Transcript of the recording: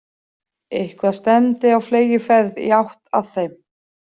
Eitthvað stefndi á fleygiferð í átt að þeim.